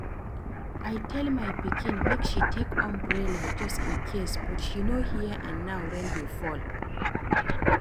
I tell my pikin make she take umbrella just in case but she no hear and now rain dey fall